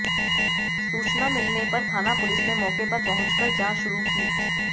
सूचना मिलने पर थाना पुलिस ने मौके पर पहुंचकर जांच शुरू की